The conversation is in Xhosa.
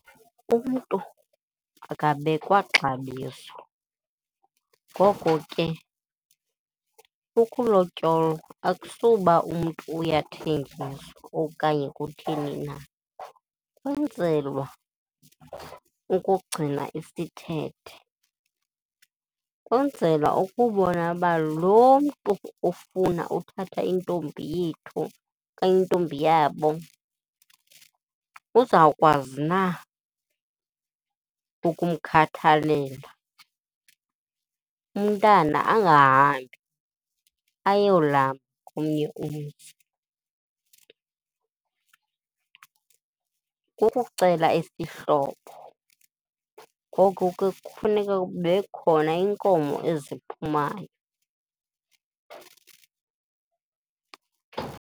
Umntu akabekwa xabiso, ngoko ke ukulotyolwa akusuba umntu uyathengiswa okanye kutheni na, kwenzelwa ukugcina isithethe. Kwenzelwa ukubona uba lo mntu ufuna uthatha intombi yethu okanye intombi yabo uzawukwazi na ukumkhathalela, umntana angahambi ayolamba komnye umzi. Kukucela isihlobo ngoko ke kufuneka kube khona iinkomo eziphumayo.